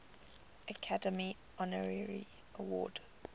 academy honorary award